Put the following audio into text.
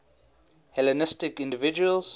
hellenistic individuals